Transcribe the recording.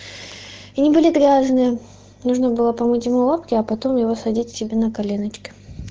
они были грязные нужно было помыть ему лапки а потом его садить его себе на коленочки